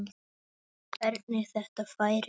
Hvernig þetta færi.